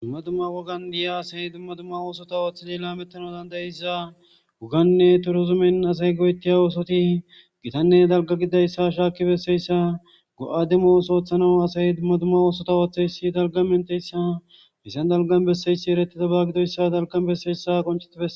Dumma dumma wogan diya aday dumma dummaba oso oothid lametanawu danda'iyaysa wogane turizumen asati go'etiya osoti gitanne dalga gididaysa dalgan beses